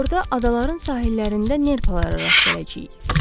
Orada adaların sahillərində nerpalara rast gələcəyik.